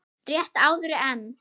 Rétt áður en